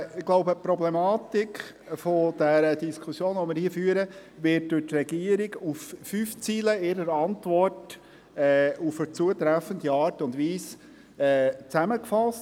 Ich glaube, die Problematik der Diskussion, die wir hier führen, wird durch die Regierung in ihrer Antwort auf fünf Zeilen in einer zutreffenden Art und Weise zusammengefasst.